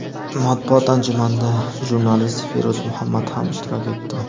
Matbuot anjumanida jurnalist Feruz Muhammad ham ishtirok etdi.